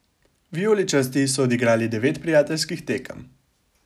Vijoličasti so odigrali devet prijateljskih tekem.